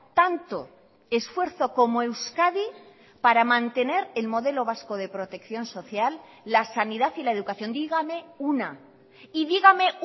tanto esfuerzo como euskadi para mantener el modelo vasco de protección social la sanidad y la educación dígame una y dígame